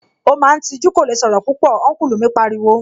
Ó máa ń tijú, kò lè sọ̀rọ̀ púpọ̀, Ọ́nkùlù mi pariwo